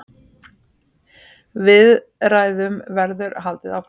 Viðræðum verður haldið áfram.